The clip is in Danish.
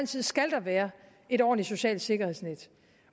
side skal der være et ordentligt socialt sikkerhedsnet